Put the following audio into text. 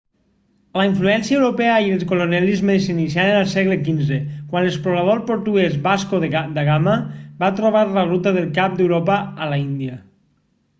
la influència europea i el colonialisme s'iniciaren al segle xv quan l'explorador portuguès vasco da gama va trobar la ruta del cap d'europa a l'índia